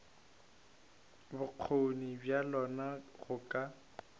bokgoni bja lona go ka